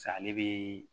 ale bi